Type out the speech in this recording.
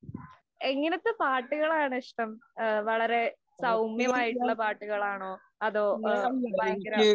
എങ്ങനത്തെ പാട്ടുകളാണ് ഇഷ്ടം. വളരെ സൗമ്യമായിട്ടുള്ള പാട്ടുകളാണോ? അതോ ഭയങ്കര